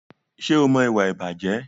Ṣé o mọ ìwà ìbàjẹ́?